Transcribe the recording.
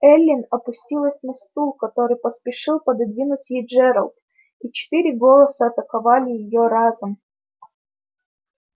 эллин опустилась на стул который поспешил пододвинуть ей джералд и четыре голоса атаковали её разом